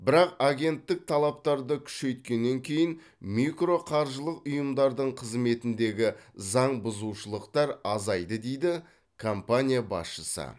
бірақ агенттік талаптарды күшейткеннен кейін микроқаржылық ұйымдардың қызметіндегі заң бұзушылықтар азайды дейді компания басшысы